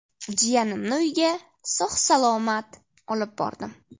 Jiyanimni uyga sog‘-salomat olib bordim.